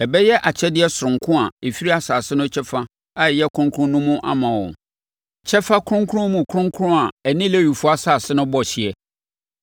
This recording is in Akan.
Ɛbɛyɛ akyɛdeɛ sononko a ɛfiri asase no kyɛfa a ɛyɛ kronkron no mu ama wɔn, kyɛfa kronkron mu kronkron a ɛne Lewifoɔ asase no bɔ hyeɛ.